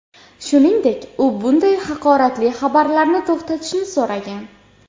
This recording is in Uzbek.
Shuningdek, u bunday haqoratli xabarlarni to‘xtatishni so‘ragan.